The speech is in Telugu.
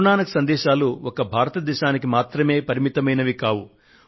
గురు నానక్ దేవ్ సందేశాలు ఒక్క భారతదేశానికి మాత్రమే పరిమితమైనవి కావు